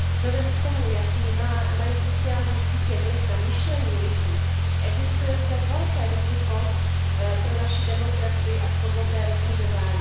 Vzhledem k tomu, jaký mají sociální sítě vliv na myšlení lidí, existuje zde velké riziko pro naši demokracii a svobodné rozhodování.